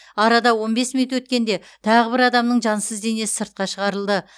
арада он бес минут өткенде тағы бір адамның жансыз денесі сыртқа шығарылды